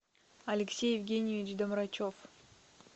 алексей евгеньевич доврачов